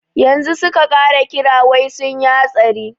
Yanzu su ka kira wai sunyi hatsari.